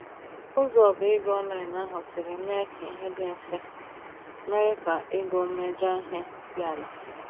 Ụzọ oba-ego online ahụ siri mee k'ihe dị mfe, mere ka ogo mmejọ ihe dị àlà.